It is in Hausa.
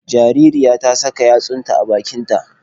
Jaririyar ta saka yatsunta a bakin ta